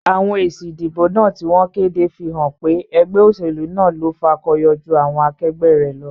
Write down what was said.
Àwon èsì ìdìbò náà tí wón kéde fí hán pé egbé òsèlú náà lo fakoyo jú àwon akegbé rè lo